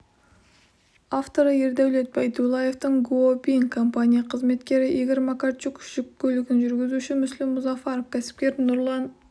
авторы ердәулет байдуллаевтың гуо бин компания қызметкері игорь макарчук жүк көлігін жүргізуші мүсілім мұзафаров кәсіпкер нұрлан